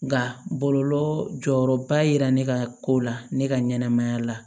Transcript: Nka bɔlɔlɔ jɔyɔrɔba ye ne ka ko la ne ka ɲɛnɛmaya la